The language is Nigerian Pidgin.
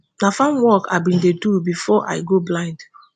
na farm work i bin dey do bifor i go blind